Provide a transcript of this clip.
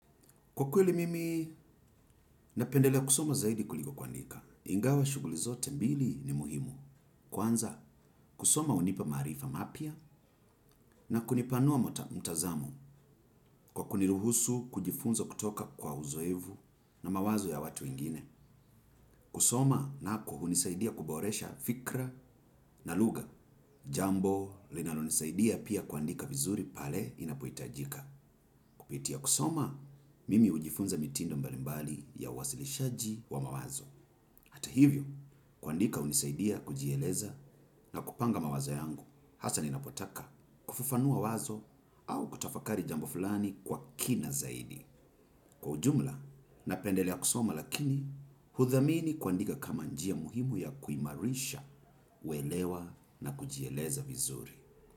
Kwa kweli mimi napendelea kusoma zaidi kuliko kuandika, ingawa shuguli zote mbili ni muhimu. Kwanza kusoma unipa maarifa mapya na kunipanua mtazamo kwa kuniruhusu kujifunza kutoka kwa uzoevu na mawazo ya watu wengine. Kusoma nako hunisaidia kuboresha fikra na luga jambo linalonisaidia pia kuandika vizuri pale inapoitajika. Kupitia kusoma mimi ujifunza mitindo mbali mbali ya uwasilishaji wa mawazo. Kutahivyo, kuandika unisaidia kujieleza na kupanga mawazo yangu, hasa ninapotaka kufafanua wazo au kutafakari jambo fulani kwa kina zaidi. Kwa ujumla, napendelea kusoma lakini, hudhamini kuandika kama njia muhimu ya kuimarisha, uelewa na kujieleza vizuri.